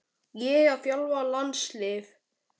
Ég að þjálfa landslið?